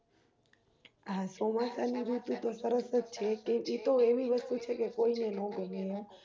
હા ચોમાસા ની ઋતુ તો સરસ જ છે કે એતો એવી વસ્તુ છેકે કોઈને ન ગમે